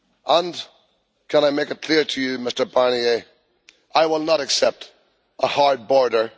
And can I make it clear to you, Mr Barnier, that I will not accept a hard border.